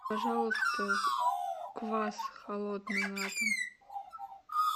пожалуйста квас холодный на дом